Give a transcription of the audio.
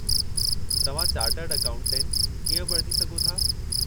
तव्हां chartered accountant कीअं बणिजी सघो था?